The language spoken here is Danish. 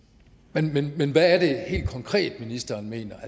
men men hvad er det helt konkret ministeren mener